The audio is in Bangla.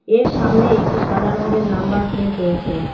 এর সামনে একটি সাদা রঙ্গের নাম্বার প্লেট রয়েছে।